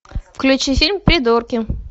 включи фильм придурки